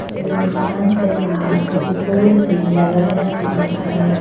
इस दुकान के बाहर एक बोर्ड भी लगाया हुआ है।